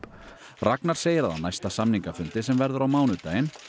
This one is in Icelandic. Ragnar segir að á næsta samningafundi sem verður á mánudaginn